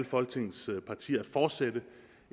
folketingets partier fortsætter